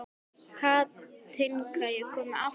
Katinka, ég kom með áttatíu og sjö húfur!